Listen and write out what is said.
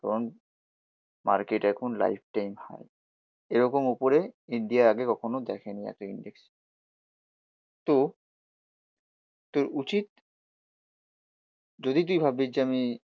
কারণ মার্কেট এখন life time high এরকম ওপরে ইন্ডিয়া আগে কখনো দেখেনি এতো ইন্ডেক্স। তো তোর উচিত যদি তুই ভাবছিস যে আমি